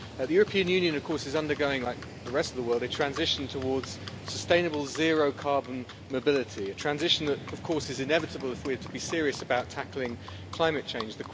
The European Union, of course, is undergoing, like the rest of the world, a transition towards sustainable zero carbon mobility a transition that is, of course, inevitable if we are to be serious about tackling climate change.